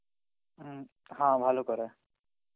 হম হ্যাঁ ভালো করায়.